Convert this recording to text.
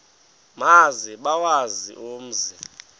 maze bawazi umzi